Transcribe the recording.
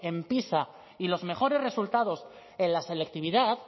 en pisa y los mejores resultados en la selectividad